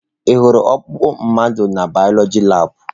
Ị hụrụ ọkpụkpụ mmadụ na bioloji labụ?